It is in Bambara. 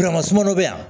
sumaman bɛ yan